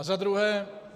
A za druhé.